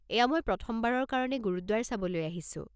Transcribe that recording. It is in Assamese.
এয়া মই প্ৰথমবাৰৰ কাৰণে গুৰুদ্বাৰ চাবলৈ আহিছোঁ।